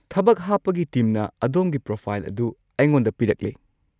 ꯊꯕꯛ ꯍꯥꯞꯄꯒꯤ ꯇꯤꯝꯅ ꯑꯗꯣꯝꯒꯤ ꯄ꯭ꯔꯣꯐꯥꯏꯜ ꯑꯗꯨ ꯑꯩꯉꯣꯟꯗ ꯄꯤꯔꯛꯂꯦ꯫